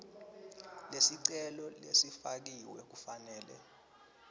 lesicelo lesifakiwe kufanele